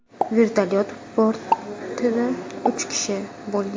Vertolyot bortida uch kishi bo‘lgan.